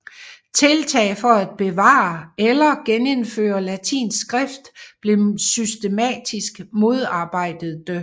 Tiltag for at bevare eller genindføre latinsk skrift blev systematisk modarbejdede